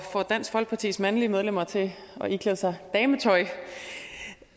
får dansk folkepartis mandlige medlemmer til at iklæde sig dametøj